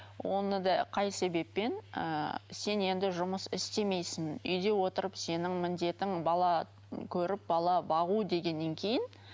оны да қай себеппен ыыы сен енді жұмыс істемейсің үйде отырып сенің міндетің бала көріп бала бағу дегеннен кейін